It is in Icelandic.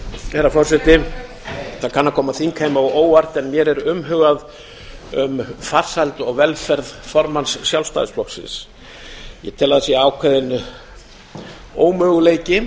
herra forseti það kann að koma þingheimi á óvart en mér er umhugað um farsæld og velferð formanns sjálfstæðisflokksins ég tel að það sé ákveðinn ómöguleiki